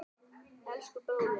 Elsku, bróðir.